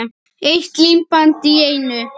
Eitt límband í einu.